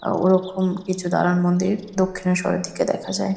আ ওরকম কিছু দালান মন্দির দক্ষিনেশ্বরের দিকে দেখা যায়।